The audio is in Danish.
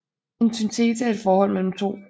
En Synthese er et Forhold mellem To